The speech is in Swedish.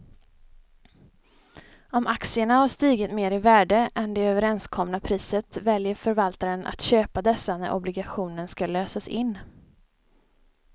Om aktierna har stigit mer i värde än det överenskomna priset väljer förvaltaren att köpa dessa när obligationen ska lösas in.